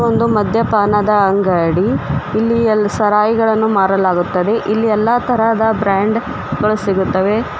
ಒಂದು ಮದ್ಯಪಾನದ ಅಂಗಡಿ ಇಲ್ಲಿ ಎಲ್ ಸರಾಯಿಗಳನ್ನು ಮಾರಲಾಗುತ್ತದೆ ಇಲ್ಲಿ ಎಲ್ಲಾ ತರಹದ ಬ್ರಾಂಡ್ ಗಳು ಸಿಗುತ್ತವೆ.